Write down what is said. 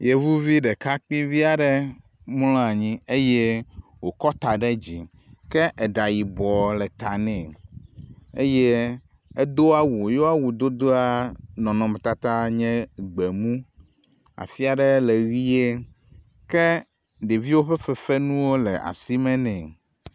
Yevuvi ɖekakpuivi aɖe mlɔ anyi eye wòkɔ ta ɖe dzi. Ke eɖa yibɔ le ta nɛ eye edo awu, ye wo awudodoa nɔnɔmetata nye gbemu, afia ɖe le ʋɛ̃e. ke ɖeviwo ƒe fefenuwo le asime nɛ.